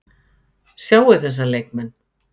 Sjáið þessa leikmenn